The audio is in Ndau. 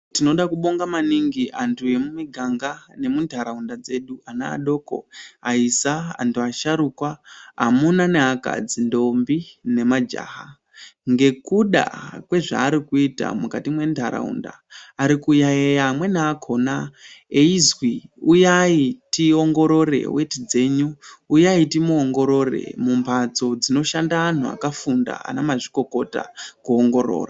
Tinoda kubonga maningi antu emumi ganga ne mu ntaraunda dzedu ana adoko aisa anhu asharukwa amuna ne akadzi ndombi ne majaha ngekuda kwe zvavari kuita mukati me ndaraunda ari kuyayiya amweni akona eizwi uyayi tiongorore weti dzenyu uyayi timu ongorore mu mbatso dzinoshanda anhu aka funda ana mazvikokota ku ongorora.